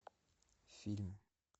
фильм